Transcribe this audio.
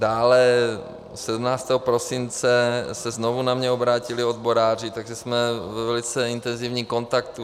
Dále, 17. prosince se znovu na mě obrátili odboráři, takže jsme ve velice intenzivním kontaktu.